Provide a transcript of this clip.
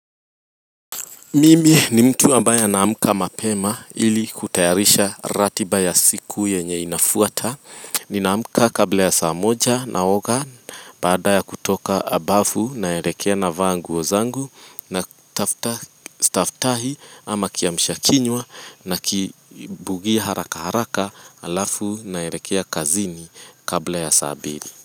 Mimi ni mtu ambaye anaamka mapema ili kutayarisha ratiba ya siku yenye inafuata ni naamka kabla ya saa moja naoga baada ya kutoka bafu naelekea na vaanguo zangu natafuta staftahi ama kiamshakinywa na kibugia haraka haraka alafu naelekea kazini kabla ya saa mbili.